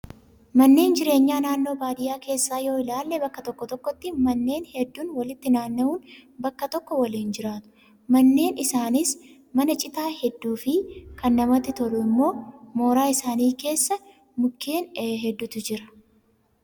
Manneen jireenyaa naannoo baadiyyaa keessaa yoo ilaalle bakka tokko tokkotti manneen hedduun walitti naanna'uun bakka tokko waliin jiraatu. Manneen isaaniis mana citaa hedduu fi kan namatti tolu immoo mooraa isaanii keessa mukkeen hedduutu jira.